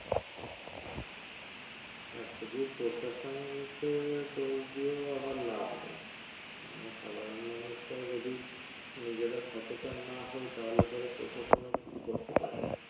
আহ শুধু প্রশাসনকে দোষ দিয়েও আবার লাভ নেই আমরা সাধারন মানুষরা যদি নিজেরা সচেতন না হয় তাহলে পরে প্রশাসনও কিছু করতে পারবে